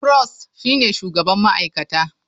Prost shine shugaban ma'aikata.